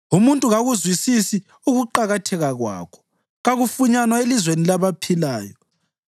Umuntu kakuzwisisi ukuqakatheka kwakho; kakufunyanwa elizweni labaphilayo.